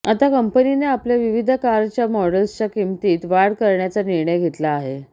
आता कंपनीने आपल्या विविध कारच्या मॉडल्सच्या किमतीत वाढ करण्याचा निर्णय घेतला आहे